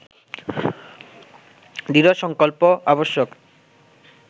দৃঢ় সংকল্প আবশ্যক